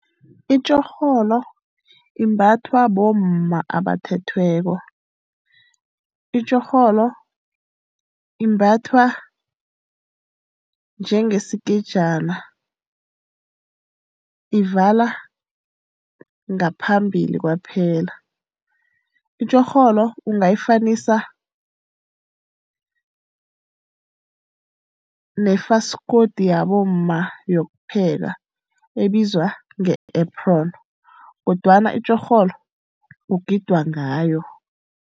Itjorholo imbathwa bomma abathethweko. Itjorholo imbathwa njengesikejana, ivala ngaphambili kwaphela. Itjorholo ungayifanisa nefaskoti yabomma yokupheka ebizwa nge-apron, kodwana itjorholo kugidwa ngayo.